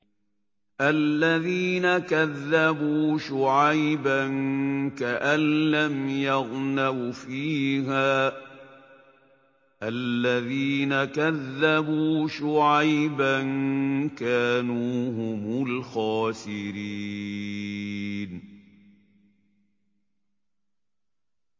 الَّذِينَ كَذَّبُوا شُعَيْبًا كَأَن لَّمْ يَغْنَوْا فِيهَا ۚ الَّذِينَ كَذَّبُوا شُعَيْبًا كَانُوا هُمُ الْخَاسِرِينَ